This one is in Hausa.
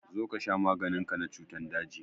Zo ka sha maganin ka na cutan daji!